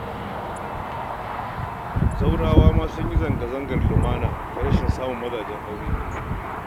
Zawarawa ma sun yi zanga-zangar lumana ta rashin samun mazajen aure